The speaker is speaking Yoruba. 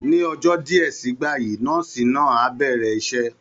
Ní ọjọ́ díẹ̀ sígbà yìí, nọ́ọ̀sì náà á bẹ̀rẹ̀ iṣẹ́